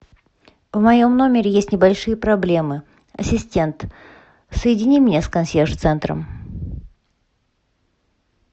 в моем номере есть небольшие проблемы ассистент соедини меня с консьерж центром